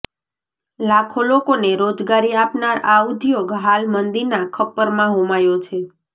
લાખો લોકોને રોજગારી આપનાર આ ઉદ્યોગ હાલ મંદીના ખપ્પરમાં હોમાયો છે